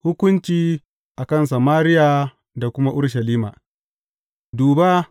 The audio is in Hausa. Hukunci a kan Samariya da kuma Urushalima Duba!